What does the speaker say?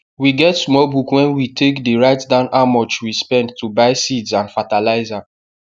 we get small book wen we take dey write down how much we spend to buyseeds and fatalizer